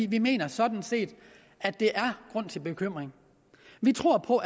vi mener sådan set at der er grund til bekymring vi tror på